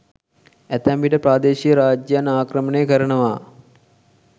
ඇතැම් විට ප්‍රාදේශීය රාජ්‍යයන් ආක්‍රමණය කරනවා.